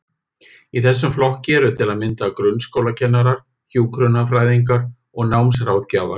Í þessum flokki eru til að mynda grunnskólakennarar, hjúkrunarfræðingar og námsráðgjafar.